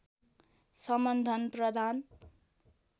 सम्बन्धन प्रदान